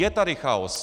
Je tady chaos!